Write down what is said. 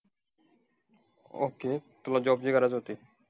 Okay! तुला job ची गरज होती.